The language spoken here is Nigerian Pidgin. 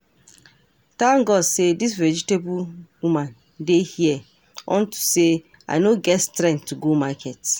Thank God say dis vegetable woman dey here unto say I no get strength to go market